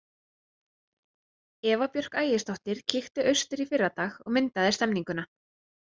Eva Björk Ægisdóttir kíkti austur í fyrradag og myndaði stemmninguna.